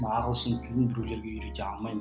мына ағылшын тілін біреулерге үйрете алмаймын